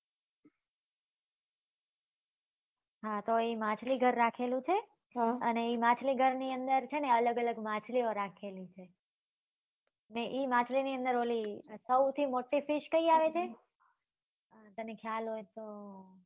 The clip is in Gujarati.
હા તો એ માછલી ઘર રાખેલું છે એ માછલી ઘર ની અંદર છે ને અલગ અલગ માછલી ઓ રાખેલી છે અને એ માછલી ની અંદર ઓલી સૌથી મોટી fish કઈ આવે છે તને ખ્યાલ હોય તો